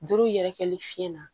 Duuru yɛrɛkɛli fiɲɛ na